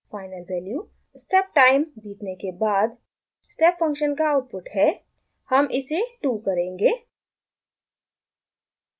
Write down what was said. final value step time बीतने के बाद step function का आउटपुट है हम इसे 2 करेंगे